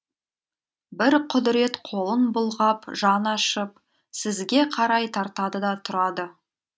бір құдырет қолын бұлғап жаны ашып сізге қарай тартады да тұрады